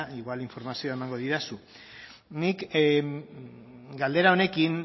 igual informazioa emango didazu nik galdera honekin